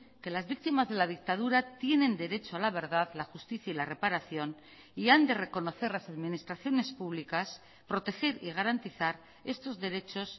que las víctimas de la dictadura tienen derecho a la verdad la justicia y la reparación y han de reconocer las administraciones públicas proteger y garantizar estos derechos